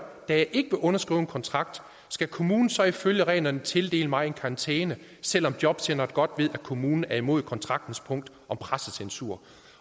da jeg ikke vil underskrive en kontrakt skal kommunen så ifølge reglerne tildele mig en karantæne selv om jobcenteret godt ved at kommunen er imod kontraktens punkt om pressecensur